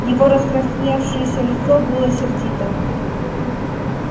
его раскрасневшееся лицо было сердито